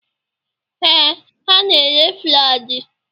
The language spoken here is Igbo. Ee, ha na-ere Flaji.